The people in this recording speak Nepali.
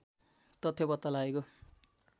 तथ्य पत्ता लागेको